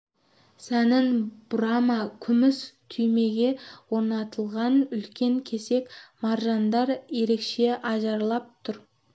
сәнін бұрама күміс түймеге орнатылған үлкен кесек маржандар ерекше ажарлап түр